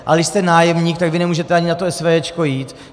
Ale když jste nájemník, tak vy nemůžete ani na to SVJ jít.